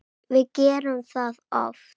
Við gerum það oft.